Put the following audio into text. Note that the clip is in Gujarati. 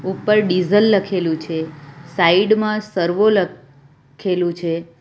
ઉપર ડીઝલ લખેલું છે સાઈડ માં સર્વો લ ખેલું છે.